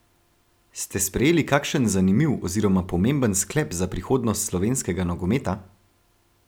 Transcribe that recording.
Ste sprejeli kakšen zanimiv oziroma pomemben sklep za prihodnost slovenskega nogometa?